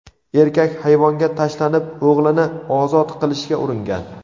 Erkak hayvonga tashlanib, o‘g‘lini ozod qilishga uringan.